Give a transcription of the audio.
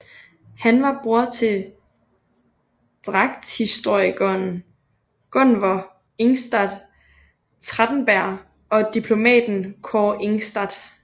Han var bror til dragthistorikeren Gunvor Ingstad Trætteberg og diplomaten Kaare Ingstad